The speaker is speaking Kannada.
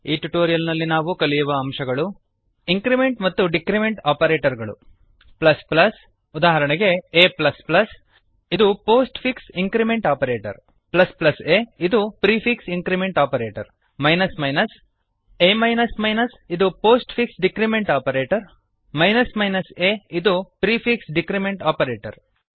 ಈ ಟ್ಯುಟೋರಿಯಲ್ ನಲ್ಲಿ ನಾವು ಕಲಿಯುವ ಅಂಶಗಳು160 ಇಂಕ್ರಿಮೆಂಟ್ ಮತ್ತು ಡಿಕ್ರಿಮೆಂಟ್ ಆಪರೇಟರ್ ಗಳು ಪ್ಲಸ್ ಪ್ಲಸ್ ಉದಾಹರಣೆಗೆ a ಎ ಪ್ಲಸ್ ಪ್ಲಸ್ ಇದು postfix increment operator a ಇದು prefix increment operator minus minus a ಇದು postfix decrement operator a ಇದು ಪ್ರಿಫಿಕ್ಸ್ ಡಿಕ್ರಿಮೆಂಟ್ ಆಪರೇಟರ್